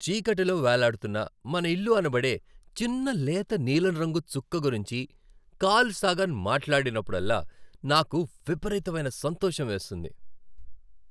చీకటిలో వేలాడుతున్న మన ఇల్లు అనబడే చిన్న లేత నీలం రంగు చుక్క గురించి కార్ల్ సాగన్ మాట్లాడినప్పుడల్లా నాకు విపరీతమైన సంతోషం వేస్తుంది.